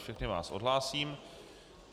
Všechny vás odhlásím.